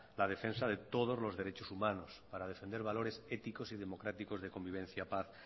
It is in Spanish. la defensa de todos los derechos humanos para defender valores éticos y democráticos de convivencia paz